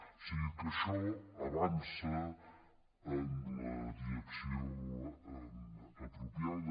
o sigui que això avança en la direcció apropiada